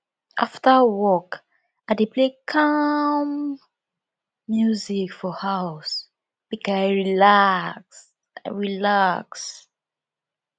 afta work i dey play calm music for house make i relax i relax